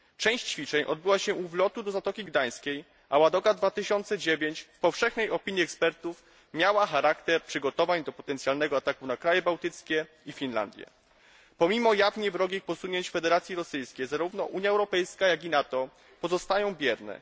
Część ćwiczeń odbyła się u wlotu do Zatoki Gdańskiej, a Ładoga 2009 w powszechnej opinii ekspertów miała charakter przygotowań do potencjalnego ataku na kraje bałtyckie i Finlandię. Pomimo jawnie wrogich posunięć Federacji Rosyjskiej, zarówno Unia Europejska, jak i NATO pozostają bierne.